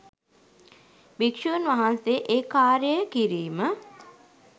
භික්‍ෂූන් වහන්සේ ඒ කාර්යය කිරීම